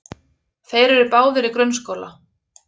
Þeir eru báðir í grunnskóla.